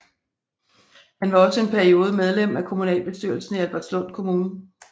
Han var også en periode medlem af kommunalbestyrelsen i Albertslund Kommune